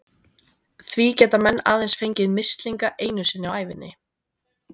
Því geta menn aðeins fengið mislinga einu sinni á ævinni.